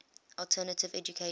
alternative education